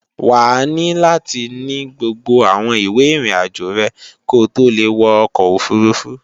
Wàá ní láti ní gbogbo àwọn ìwé ìrìnàjò rẹ̀ ko tó le wọ ọkọ̀ òfurufú